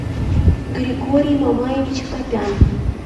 григорий мамаевич акопян